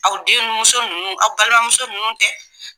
Aw denmuso nunnu aw balimamuso ninnu tɛ